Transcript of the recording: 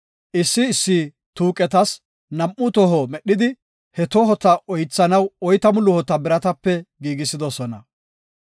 Issi issi tuuqetas nam7u toho medhidi, he tohota oythanaw oytamu luhota biratape giigisidosona.